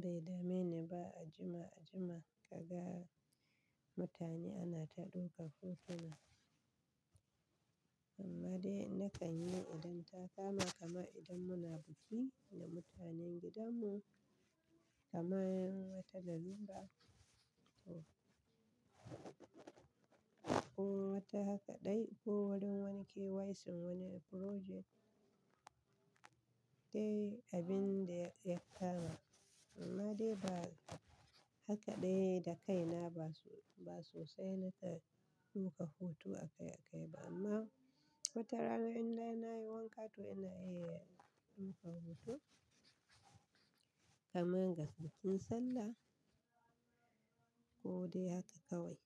bai dame ni ba. A jima-jima ka ga mutane ana ta ɗaukan hotuna, amma dai na kan yi idan ta kama kamar idan muna biki da mutanen gidan mu, kamar wata lalura ko wata haka dai ko wurin wani KYC'n wani uploading da dai abin da ya kama. Amma dai ba haka dai da kaina ba, ba sosai na ke ɗaukanu hoto akai-akai ba amma wata rana in dai na yi wanka to ina iya ɗaukan hoto kamar ga bikin sallah ko dai haka kawai.